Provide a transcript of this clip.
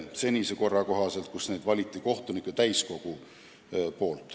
Senise korra kohaselt valis neid kohtunike täiskogu.